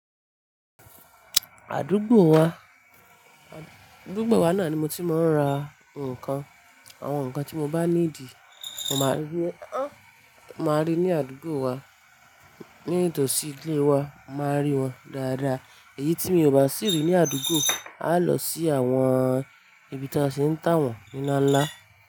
Àdúgbò wa, àdúgbò wa náà ni mo ti máa ń ra nǹkan. Àwọn nǹkan tí mo bá needì, mo máa rí, máa rí ní àdúgbò wa. Ní ìtòsí ilé wa, màá rí wọn dáadáa. Èyí tí mi ò bá sì rí ní àdúgbò, a lọ sí àwọn ibi tí won ti ń tà wọ́n nlá ńlá.